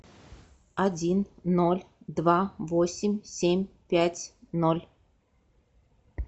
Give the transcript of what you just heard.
один ноль два восемь семь пять ноль